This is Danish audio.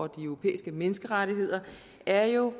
de europæiske menneskerettigheder er jo